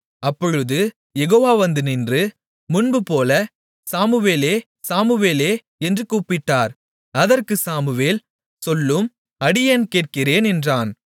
அப்பொழுது யெகோவா வந்து நின்று முன்புபோல சாமுவேலே சாமுவேலே என்று கூப்பிட்டார் அதற்குச் சாமுவேல் சொல்லும் அடியேன் கேட்கிறேன் என்றான்